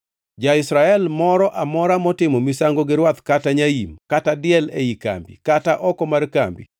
Ja-Israel moro amora motimo misango gi rwath kata nyaim, kata diel ei kambi kata oko mar kambi,